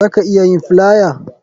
Za ka iya yin flier